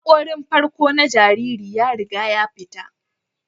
Hakorin farko na jariri ya riga ya fita